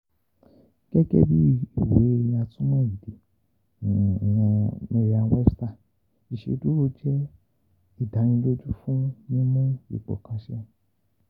Gẹgẹ bi iwe atúmọ̀ ede Merriam Webster iṣeduro jẹ “idaniloju fun mimu ipo kan ṣẹ.”